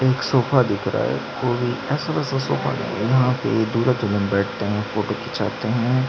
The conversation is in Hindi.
एक सोफा दिख रहा है कोई ऐसा वैसा सोफा नहीं है यहाँ पर दूल्हा दुल्हन बैठते है फोटो खींचाते है।